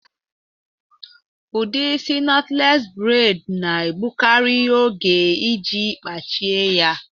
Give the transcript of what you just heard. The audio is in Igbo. Udi isị nọtles bred na-egbukari oge iji kpachie ya